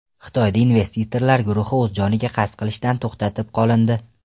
Xitoyda investorlar guruhi o‘z joniga qasd qilishdan to‘xtatib qolindi.